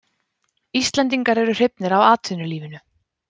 Íslendingar eru hrifnir af atvinnulífinu.